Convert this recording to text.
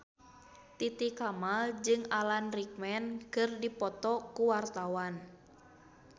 Titi Kamal jeung Alan Rickman keur dipoto ku wartawan